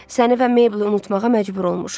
Səni və Meyblı unutmağa məcbur olmuşam.